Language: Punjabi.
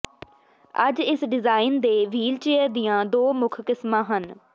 ਅੱਜ ਇਸ ਡਿਜ਼ਾਈਨ ਦੇ ਵ੍ਹੀਲਚੇਅਰ ਦੀਆਂ ਦੋ ਮੁੱਖ ਕਿਸਮਾਂ ਹਨ